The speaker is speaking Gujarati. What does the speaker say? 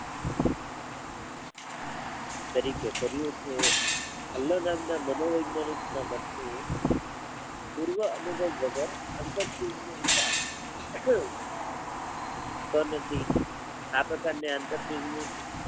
તરીકે કર્યું છે અલલગામના મનોવેજ્ઞાનિક ના મતે પૂર્વ અનુભવ વગર કનજી આ પ્ર્કારની આંતરસૂજ